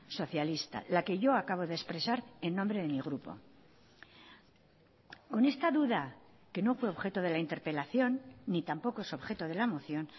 socialista la que yo acabo de expresar en nombre de mi grupo con esta duda que no fue objeto de la interpelación ni tampoco es objeto de la moción